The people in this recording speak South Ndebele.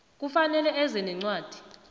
kufanele eze nencwadi